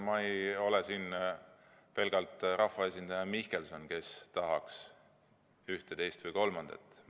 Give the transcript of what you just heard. Ma ei ole siin pelgalt rahvaesindaja Mihkelson, kes tahaks ühte, teist või kolmandat.